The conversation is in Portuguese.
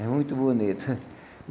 É muito bonito.